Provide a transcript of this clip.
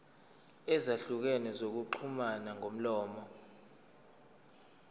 ezahlukene zokuxhumana ngomlomo